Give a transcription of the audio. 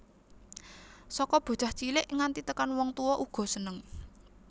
Saka bocah cilik nganti tekan wong tuwa uga seneng